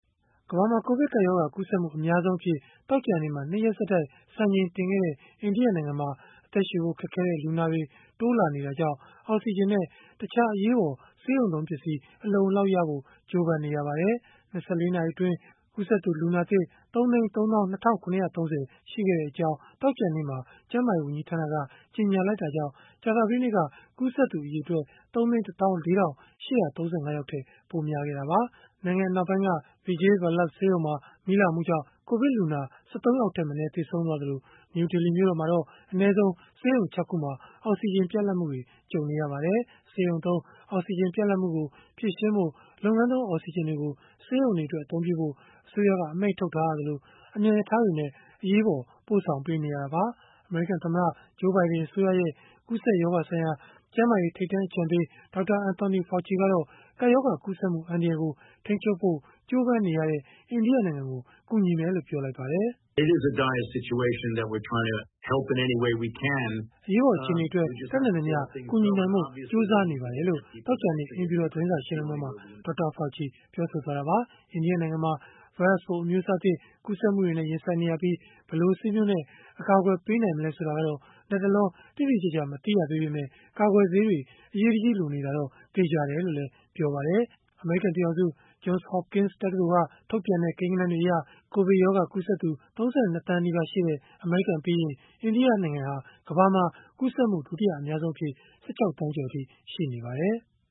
ကမ္ဘာမှာ ကိုဗစ်ကပ်ရောဂါ ကူးစက်မှု အများဆုံးအဖြစ် သောကြာနေ့မှာ ၂ ရက်ဆက်တိုက် စံချိန်တင်ခဲ့တဲ့ အိန္ဒိယနိုင်ငံမှာ အသက်ရှုဖို့ခက်ခဲတဲ့ လူနာတွေ တိုးလာတာကြောင့် အောက်စီဂျင်နဲ့ တခြားအရေးပေါ် ဆေးရုံသုံးပစ္စည်း အလုံအလောက်ရဖို့ ကြိုးပမ်းနေရပါတယ်။ ၂၄ နာရီအတွင်း ကူးစက်သူ လူနာသစ် ၃၃၂,၇၃၀ ရှိခဲ့ကြောင်း သောကြာနေ့မှာ ကျန်းမာရေး ဝန်ကြီးဌာနက ကြေညာလိုက်တာကြောင့် ကြာသပတေးနေ့က ကူးစက်သူ အရေအတွက် ၃၁၄,၈၃၅ ထက် ပိုများခဲ့တာပါ။ နိုင်ငံအနောက်ပိုင်းက Vijay Vallabh ဆေးရုံမှာ မီးလောင်မှုကြောင့် ကိုဗစ်လူနာ ၁၃ ယောက်ထက်မနည်း သေဆုံးခဲ့သလို၊ နယူးဒေလီ မြို့တော်မှာတော့ အနည်းဆုံး ဆေးရုံ ၆ ခုမှာ အောက်စီဂျင် ပြတ်လတ်မှုတွေ ကြုံနေရပါတယ်။ ဆေးရုံသုံးအောက်စီဂျင် ပြတ်လပ်မှုကို ဖြေရှင်းဖို့ လုပ်ငန်းသုံး အောက်စီဂျင်တွေကို ဆေးရုံတွေအတွက် အသုံးပြုဖို့ အစိုးရက အမိန့်ထုတ်ထားရသလို၊ အမြန်ရထားတွေနဲ့ အရေးပေါ် ပို့ဆောင်ပေးနေရတာပါ။ အမေရိကန်သမ္မတ Joe Biden အစိုးရရဲ့ ကူးစက်ရောဂါဆိုင်ရာ ကျန်းမာရေး ထိပ်တန်း အကြံပေး Dr. Anthony Fauci ကတော့ ကပ်ရောဂါကူးစက်မှု အန္တရာယ်ကို ထိန်းချုပ်ဖို့ ကြိုးပမ်းနေတဲ့ အိန္ဒိယနိုင်ငံကို ကူညီမယ်လို့ ပြောလိုက်ပါတယ်။ “အရေးပေါ် အခြေအနေအတွက် တတ်နိုင်သမျှ ကူညီနိုင်ဖို့ ကြိုးစားနေပါတယ်။” လို့ သောကြာနေ့ အိမ်ဖြူတော် သတင်းစာရှင်းလင်းပွဲမှာ Dr. Fauci ပြောဆိုသွားတာပါ။ အိန္ဒိယနိုင်ငံမှာ ဗိုင်းရပ်စ်ပိုး အမျိုးအစားသစ် ကူးစက်မှုတွေနဲ့ ရင်ဆိုင်နေရပြီး၊ ဘယ်လိုဆေးမျိုးနဲ့ အကာအကွယ်ပေးနိုင်မလဲ ဆိုတာကတော့ လတ်တလော တိတိကျကျ မသိရသေးပေမဲ့ ကာကွယ်ဆေးတွေ အရေးတကြီးလိုနေတာတော့ သေချာတယ်လို့လည်း ပြောပါတယ်။ အမေရိကန် ပြည်ထောင်စု Johns Hopkins တက္ကသိုလ်က ထုတ်ပြန်တဲ့ ကိန်းဂဏန်းတွေအရ ကိုဗစ်ရောဂါကူးစက်သူ ၃၂ သန်းနီးပါးရှိတဲ့ အမေရိကန်ပြီးရင်၊ အိန္ဒိယဟာ ကမ္ဘာမှာ ကူးစက်မှု ဒုတိယအများဆုံးအဖြစ် ၁၆ သန်းကျော်အထိ ရှိနေပါတယ်။